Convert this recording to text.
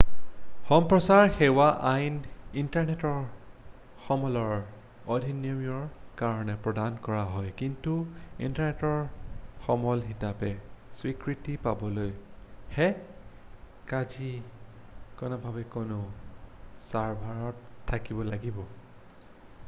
সম্প্ৰচাৰ সেৱা আইন ইণ্টাৰনেটৰ সমলৰ অধিনিয়মৰ কাৰণে প্ৰদান কৰা হয় কিন্তু ইণ্টাৰনেটৰ সমল হিচাপে স্বীকৃতি পাবলৈ ই কায়িকভাৱে কোনো ছাৰ্ভাৰত থাকিব লাগিব